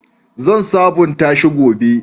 Zan sabunta shi gobe.